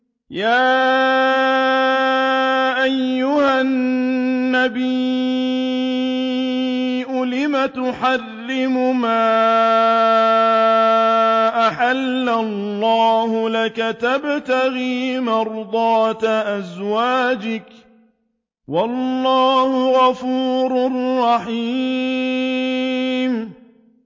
يَا أَيُّهَا النَّبِيُّ لِمَ تُحَرِّمُ مَا أَحَلَّ اللَّهُ لَكَ ۖ تَبْتَغِي مَرْضَاتَ أَزْوَاجِكَ ۚ وَاللَّهُ غَفُورٌ رَّحِيمٌ